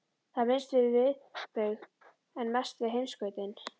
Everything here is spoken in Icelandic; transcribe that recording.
Það er minnst við miðbaug en mest við heimskautin.